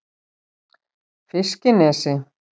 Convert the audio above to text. Fiskinesi